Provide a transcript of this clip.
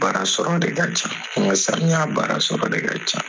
Baara sɔrɔ de ka ca samiya baara sɔrɔ de ka ca.